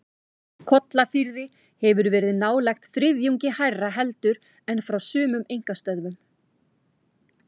Kollafirði hefur verið nálægt þriðjungi hærra heldur en frá sumum einkastöðvum.